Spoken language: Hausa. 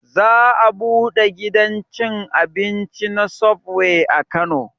Za a buɗe gidan cin abinci na subway a kano